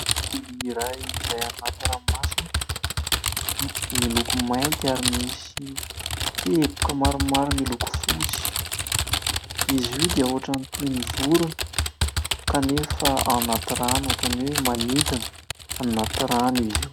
Biby iray izay any anaty ranomasina. Miloko mainty ary misy teboka maromaro miloko fotsy izy io dia ohatran'ny toy ny vorona kanefa ao anaty rano ohatran'ny hoe manidina. Ao anaty rano izy io.